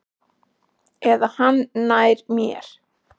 Eða hann nær mér.